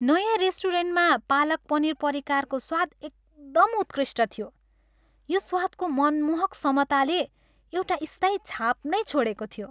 नयाँ रेस्टुरेन्टमा पालक पनीर परिकारको स्वाद एकदम उत्कृष्ट थियो, यो स्वादको मनमोहक समताले एउटा स्थायी छाप नै छोडेको थियो।